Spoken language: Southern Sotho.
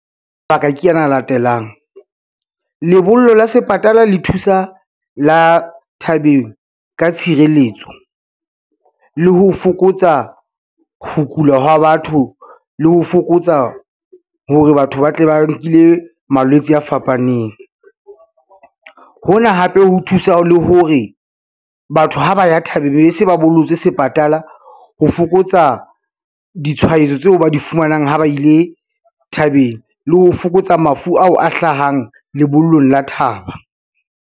Mabaka ke ana a latelang. Lebollo la sepatala le thusa la thabeng ka tshireletso, le ho fokotsa ho kula ha batho, le ho fokotsa hore batho ba tle ba nkile malwetse a fapaneng. Hona hape ho thusa le hore, batho ha ba ya thabeng be be se ba bollotse sepatala ho fokotsa ditshwaetso tseo ba di fumanang ha ba ile thabeng le ho fokotsa mafu ao a hlahang lebollong la thaba.